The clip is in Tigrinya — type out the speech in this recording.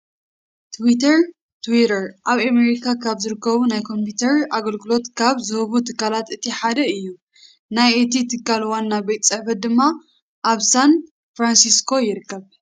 ትዊተር (Twitter) ኣብ ኣሜሪካ ካብ ዝርከቡ ናይ ኮምፕዩተር ኣገልግሎት ካብ ዝህቡ ትካላት እቲ ሓደ እዩ። ናይ እቲ ትካል ዋና ቤት ፅሕፈቱ ድማ ኣብ ሳን ፍራንሲስኮ ይርከብ።